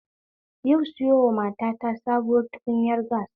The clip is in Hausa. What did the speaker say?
Yau sayowa matata sabuwar tukunyar gas